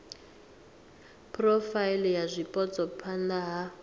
phurofaili ya zwipotso phana ha